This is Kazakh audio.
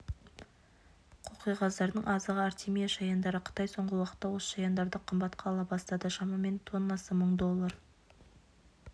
қоқиқаздардың азығы артемия шаяндары қытай соңғы уақытта осы шаяндарды қымбатқа ала бастады шамамен тоннасы мың доллар